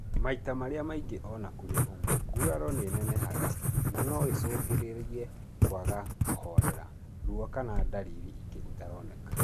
Maita marĩa maingĩ ona kũrĩ ũguo, nguraro nĩinenehaga na no icũngĩrĩrie kwaga kũhorera , ruo kana na ndariri ingĩ itaroneka